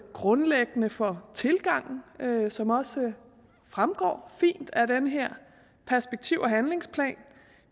grundlæggende for tilgangen som også fremgår fint af den her perspektiv og handlingsplan